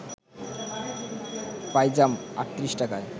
পাইজাম ৩৮ টাকায়